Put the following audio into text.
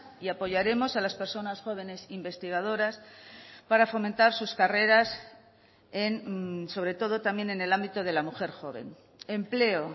y apoyaremos a las personas jóvenes investigadoras para fomentar sus carreras sobre todo también en el ámbito de la mujer joven empleo